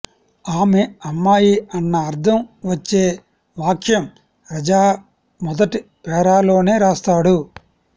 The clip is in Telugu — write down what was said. ఆమె అమ్మాయి అన్న అర్థం వచ్చే వాక్యం రజా మొదటి పేరాలోనే రాస్తాడు